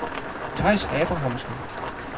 Theis Abrahamsen